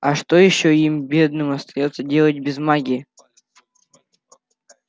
а что ещё им бедным остаётся делать без магии